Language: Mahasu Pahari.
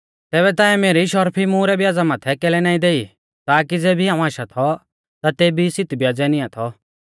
तैबै ताऐं मेरी शर्फी मुहरै ब्याज़ा माथै कैलै ना देई ताकी ज़ेबी हाऊं आशा थौ ता तेबी सित ब्याज़ै निआं थौ